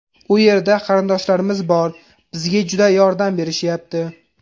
U yerda qarindoshlarimiz bor, bizga juda yordam berishyapti.